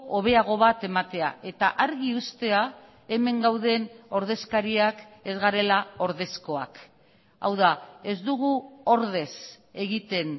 hobeago bat ematea eta argi uztea hemen gauden ordezkariak ez garela ordezkoak hau da ez dugu ordez egiten